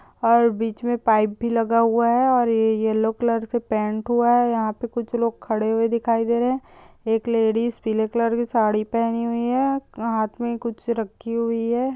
और बीच में पाइप भी लगा हुआ है और येलो कलर से पेंट हुआ है यहाँ पे कुछ लोग खड़े हुए दिखाई दे रहे हैं एक लेडिस पीले कलर की साड़ी पेहनी है और हाथ में कुछ रखी हुई है।